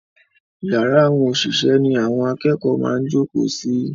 Yàrá àwọn òṣìṣẹ́ ni àwọn akẹ́kọ̀ọ́ máa ń jókòó sí.